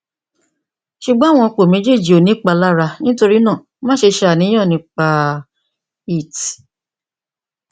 ṣugbọn awọn ipo mejeeji ko ni ipalara nitorinaa maṣe ṣàníyàn nipa it